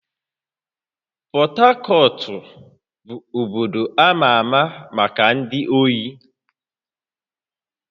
Port Harcourt bụ obodo ama ama maka ndị ohi